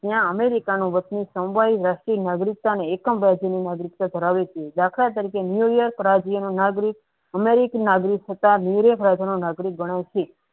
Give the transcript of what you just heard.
ત્યાં અમેરિકાનો દાખલ તરીકે ન્યુયજ રાજ્યનો નાગરિક અમેરિકી નાગરિક હતા નાગરિક ગણાય છે.